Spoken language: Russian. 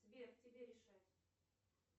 сбер тебе решать